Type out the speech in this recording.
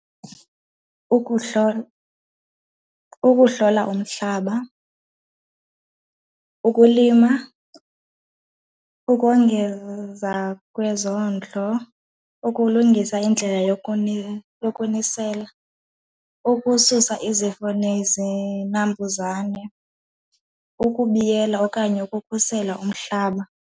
Ukuhlola, ukuhlola umhlaba, ukulima, ukongeza kwezondlo, ukulungisa indlela yokunisela, ukususa izifo nezinambuzane, ukubiyela okanye ukukhusela umhlaba.